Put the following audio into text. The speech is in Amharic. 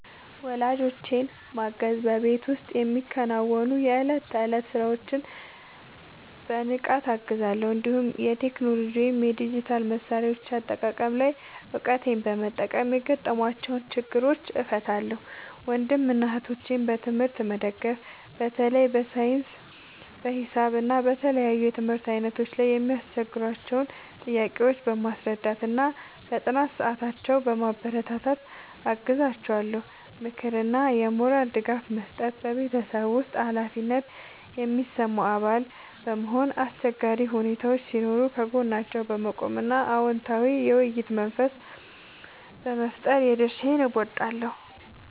ወላጆቼን ማገዝ በቤት ውስጥ የሚከናወኑ የዕለት ተዕለት ሥራዎችን በንቃት እገዛለሁ፤ እንዲሁም የቴክኖሎጂ ወይም የዲጂታል መሣሪያዎች አጠቃቀም ላይ እውቀቴን በመጠቀም የገጠሟቸውን ችግሮች እፈታላቸዋለሁ። ወንድምና እህቶቼን በትምህርት መደገፍ በተለይ በሳይንስ፣ በሂሳብ እና በተለያዩ የትምህርት ዓይነቶች ላይ የሚያስቸግሯቸውን ጥያቄዎች በማስረዳትና በጥናት ሰዓታቸው በማበረታታት አግዛቸዋለሁ። ምክርና የሞራል ድጋፍ መስጠት በቤተሰብ ውስጥ ኃላፊነት የሚሰማው አባል በመሆን፣ አስቸጋሪ ሁኔታዎች ሲኖሩ ከጎናቸው በመቆም እና አዎንታዊ የውይይት መንፈስ በመፍጠር የድርሻዬን እወጣለሁ።